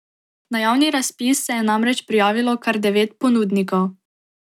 Na javni razpis se je namreč prijavilo kar devet ponudnikov.